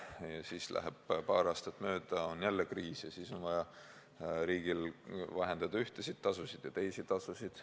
Ja siis läheb paar aastat mööda, on jälle kriis, ja siis on vaja riigil vähendada ühtesid tasusid ja teisi tasusid.